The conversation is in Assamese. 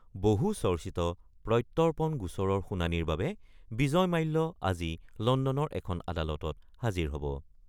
বহুচৰ্চিত প্ৰত্যৰ্পণ গোচৰৰ শুনানিৰ বাবে বিজয় মাল্য আজি লণ্ডনৰ এখন আদালতত হাজিৰ হ'ব।